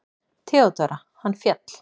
THEODÓRA: Hann féll!